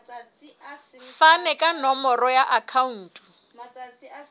fane ka nomoro ya akhauntu